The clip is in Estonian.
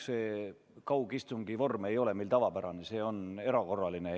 See kaugistungi vorm ei ole meil tavapärane, see on erakorraline.